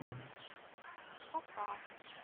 коса